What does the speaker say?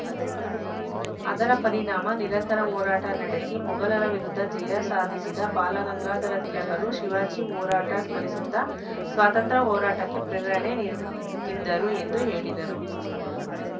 ಅದರ ಪರಿಣಾಮ ನಿರಂತರ ಹೋರಾಟ ನಡೆಸಿ ಮೊಘಲರ ವಿರುದ್ಧ ಜಯ ಸಾಧಿಸಿದ್ದ ಬಾಲಗಂಗಾಧರ ತಿಲಕರು ಶಿವಾಜಿ ಹೋರಾಟ ಸ್ಮರಿಸುತ್ತಾ ಸ್ವಾತಂತ್ರ್ಯ ಹೋರಾಟಕ್ಕೆ ಪ್ರೇರಣೆ ನೀಡುತ್ತಿದ್ದರು ಎಂದು ಹೇಳಿದರು